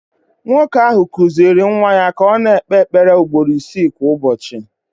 Nwoke ahụ kụziiri nwa ya ka ọ na-ekpe ekpere ugboro isii kwa ụbọchị